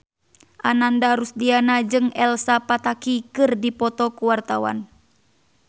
Ananda Rusdiana jeung Elsa Pataky keur dipoto ku wartawan